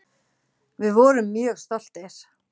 Við vorum mjög stoltir.